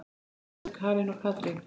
Munið Björg, Karen og Katrín.